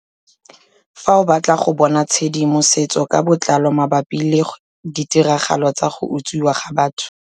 Fa o batla go bona tshedi mosetso ka botlalo mabapi le ditiragalo tsa go utswiwa ga batho.